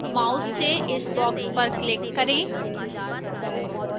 mouse से इस box पर click करें